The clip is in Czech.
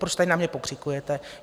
Proč tady na mě pokřikujete?